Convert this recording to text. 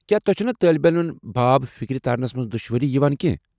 کیٚا تۄہہ چھےٚ نا طٲلب علمن باب فِكری تارنس منٛز دُشوٲری یِوان کینٛہہ ؟